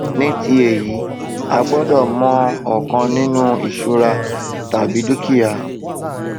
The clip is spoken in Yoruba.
ní ti èyí àgbọdọ mọ ọkan ninu ìṣura tàbí ti dúkìá